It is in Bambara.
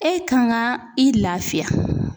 E kan ka i lafiya.